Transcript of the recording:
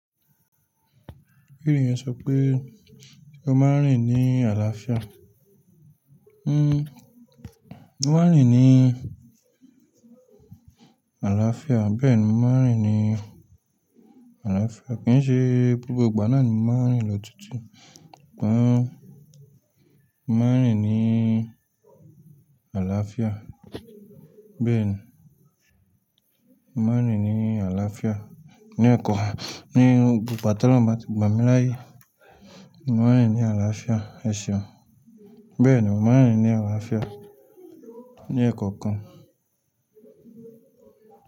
Kíni iyen sọ pé o máa ń rìn ní àlàáfíà? Hmm, mo máa ń rìn ní àlàáfíà, bẹ́ẹ̀ni mo máa ń rìn ní àlàáfíà. Kìí ṣe gbogbo ìgbà náà ni mo máa ń rìn lọ tuntun tán. Mo máa ń rìn ní àlàáfíà, bẹ́ẹ̀ni mo máa ń rìn ní àlàáfíà ní ọ̀kọ, ní gbogbo ìgbà tí olorun bá ti gbà mí laáyè. Mo máa ń rìn ní àlàáfíà, ẹ ṣéun? Bẹ́ẹ̀ni, mo máa ń rìn ní àlàáfíà ní ẹ̀kọ̀okan.